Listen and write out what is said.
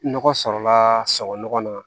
Nɔgɔ sɔrɔla sɔrɔ nɔgɔ na